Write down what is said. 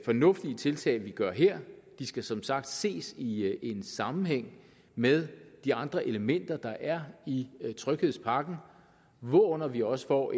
fornuftige tiltag vi gør her de skal som sagt ses i en sammenhæng med de andre elementer der er i tryghedspakken hvorunder vi også får